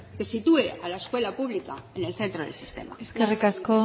que sitúe a la escuela pública en el centro del sistema eskerrik asko